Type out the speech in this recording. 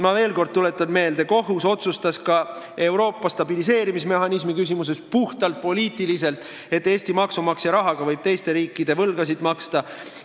Ma veel kord tuletan meelde, et kohus otsustas ka Euroopa stabiliseerimismehhanismi küsimuses puhtpoliitiliselt, et Eesti maksumaksja rahaga võib teiste riikide võlgasid maksta.